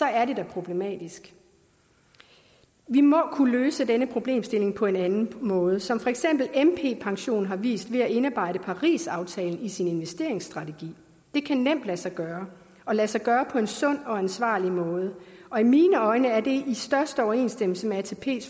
er det da problematisk vi må kunne løse denne problemstilling på en anden måde som for eksempel mp pension har vist ved at indarbejde parisaftalen i sin investeringsstrategi det kan nemt lade sig gøre og lade sig gøre på en sund og ansvarlig måde i mine øjne er det i største overensstemmelse med atps